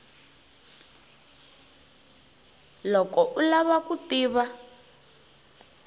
loko u lava ku tiva